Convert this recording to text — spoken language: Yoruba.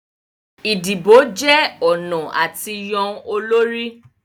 Idibo jẹ ọna a ti yan olori